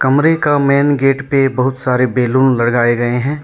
कमरे का main gate पे बहुत सारे बैलून लगाए गए हैं।